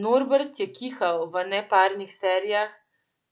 Norbert je kihal v neparnih serijah,